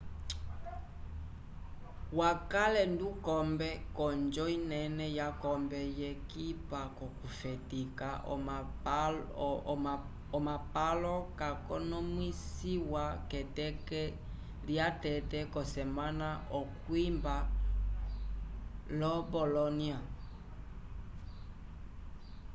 wakale ndukombe k'onjo inene yakombe yekipa k'okufetika omapalo yakonomwisiwa k'eteke lyatete yosemana okwimba lo bolónia